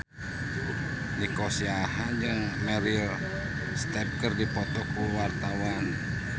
Nico Siahaan jeung Meryl Streep keur dipoto ku wartawan